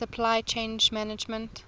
supply chain management